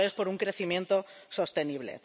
y esto es por un crecimiento sostenible.